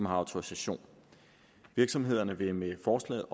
har autorisation virksomhederne vil med forslaget